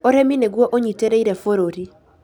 Ũrĩmi nĩguo ũnyitĩrĩire bũrũri